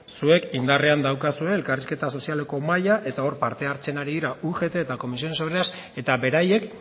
zuek indarrean daukazue elkarrizketa sozialeko mahaia eta hor parte hartzen ari dira ugt eta comisiones obreras eta beraiek